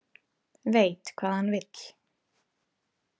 Veit hvað hann vill.